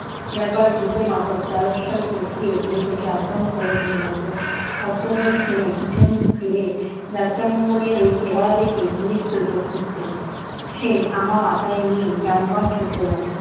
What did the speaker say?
ব্যাপার বুঝে মাহূত তারস্বরে চেঁচিয়ে বুড়িকে সাবধান করে দিতে লাগলো। হট্টগোল শুনে পিছন ফিরে যাত্রামঙ্গলের ওই চেহারা দেখে বুড়ির তো চক্ষু স্থির। সে ধামা মাথায় নিয়ে প্রাণপণ ছুটতে লাগল।